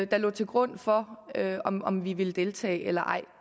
der lå til grund for om vi ville deltage eller ej